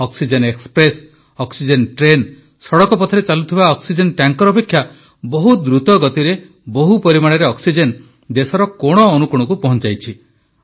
oxygen express oxygen train ସଡ଼କ ପଥରେ ଚାଲୁଥିବା ଅକ୍ସିଜେନ ଟ୍ୟାଙ୍କର ଅପେକ୍ଷା ବହୁତ ଦ୍ରୁତ ଗତିରେ ବହୁ ପରିମାଣରେ ଅକ୍ସିଜେନ ଦେଶର କୋଣ ଅନୁକୋଣକୁ ପହଞ୍ଚାଇଛି